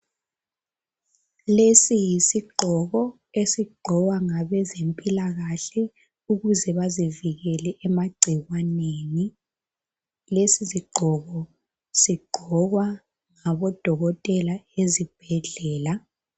Lesi yisigqoko esigqokwa ngabezempilakahle ukuze bazivikele emagcikwaneni. Lesi sigqoko sigqokwa ngabodokotela ezibhedlela.